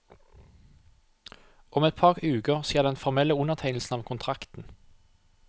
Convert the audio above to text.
Om et par uker skjer den formelle undertegnelsen av kontrakten.